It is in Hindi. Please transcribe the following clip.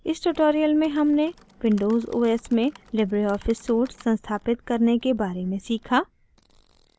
इस tutorial में हमने windows os में libreoffice suite संस्थापित करने के बारे में सीखा